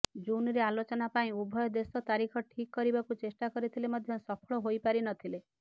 ଜୁନରେ ଆଲୋଚନା ପାଇଁ ଉଭୟ ଦେଶ ତାରିଖ ଠିକ୍ କରିବାକୁ ଚେଷ୍ଟା କରିଥିଲେ ମଧ୍ୟ ସଫଳ ହୋଇପାରିନଥିଲେ